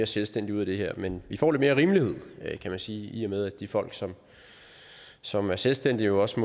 selvstændige ud af det her men vi får lidt mere rimelighed kan man sige i og med at de folk som som er selvstændige jo også